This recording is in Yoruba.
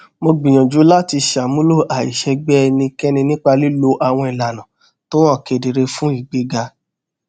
mo gbìyànjú láti ṣàmúlò àìṣègbè ẹnìkẹni nípa lílo àwọn ìlànà tó hàn kedere fún ìgbéga